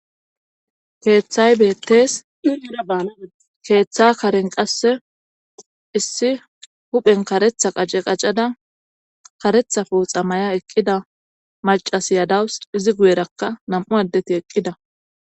Keeththay betees iera baalaade keeththa karen qasse issi huphen karetha qace qacada karetha fuuxa maya eqqida macasiyadawus izi guyerakka nam7u addeti eqqida.